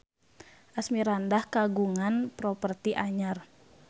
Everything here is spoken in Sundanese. Asmirandah kagungan properti anyar